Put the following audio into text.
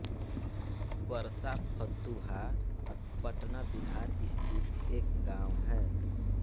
परसा फतुहा पटना बिहार स्थित एक गाँव है